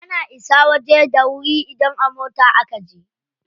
Ana isa waje da wuri idan a mota a kaje.